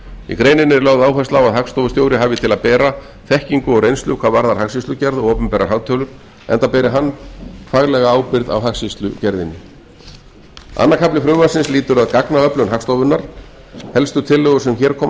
í greininni er lögð áhersla á að hagstofustjóri hafi til að bera þekkingu og reynslu hvað varðar hagskýrslugerð og opinberar hagtölur enda beri hann faglega ábyrgð á hagskýrslugerðinni annar kafli frumvarpsins lýtur að gagnaöflun hagstofunnar helstu tillögur sem hér koma